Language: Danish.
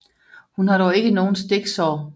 Hun har dog ikke nogen stiksår